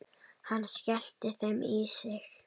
Hann skellti þeim í sig.